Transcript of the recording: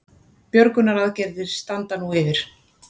Björgunaraðgerðir standa nú yfir